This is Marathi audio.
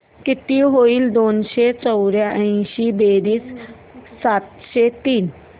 किती होईल दोनशे चौर्याऐंशी बेरीज सातशे तीस